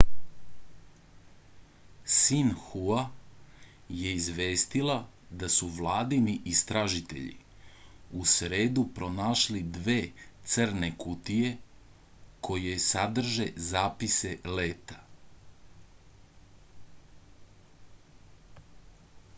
sinhua je izvestila da su vladini istražitelji u sredu pronašli dve crne kutije koje sadrže zapise leta